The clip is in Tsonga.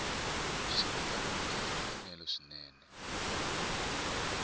swi andlariwile hi mfanelo swinene